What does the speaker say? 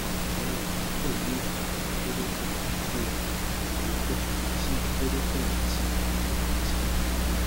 awọn wọnyi pẹlu ifaya koropon die iyipo ti koropon ati ati àkóràn